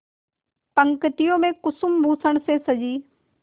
पंक्तियों में कुसुमभूषण से सजी